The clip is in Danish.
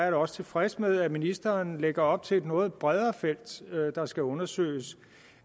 er også tilfreds med at ministeren lægger op til et noget bredere felt der skal undersøges